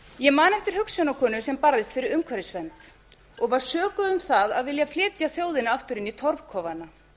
ég man eftir hugsjónakonu sem barðist fyrir umhverfisvernd og var sökuð um það að vilja flytja þjóðina áður inn í torfkofana